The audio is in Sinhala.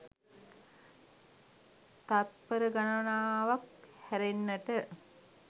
තත්පර ගණනාවක් හැරෙන්නට